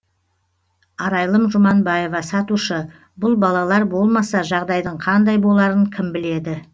арайлым жұманбаева сатушы бұл балалар болмаса жағдайдың қандай боларын кім біледі